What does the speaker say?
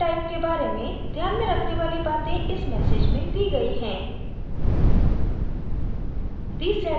इस field type के बारे में ध्यान में रखने वाली बातें इस message में दी गई है